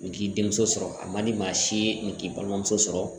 Nin k'i denmuso sɔrɔ a man di maa si ye nin k'i balimamuso sɔrɔ